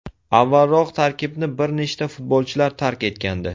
Avvalroq tarkibni bir nechta futbolchilar tark etgandi.